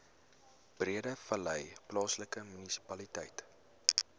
breedevallei plaaslike munisipaliteit